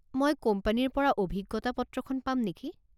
মই কোম্পানীৰ পৰা অভিজ্ঞতা পত্ৰখন পাম নেকি?